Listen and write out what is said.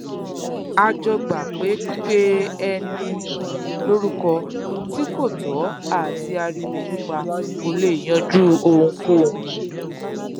a jọ gbà pé pípeni lórúkọ tí kò tọ àti ariwo pípa kò lè yanjú ohunkóhun